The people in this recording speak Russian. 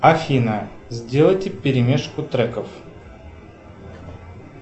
афина сделайте перемешку треков